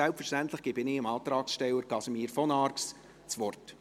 Selbstverständlich gebe ich dem Antragsteller Casimir von Arx das Wort.